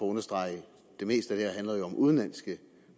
understrege at det meste af om udenlandske